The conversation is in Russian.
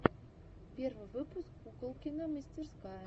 первый выпуск куколкина мастерская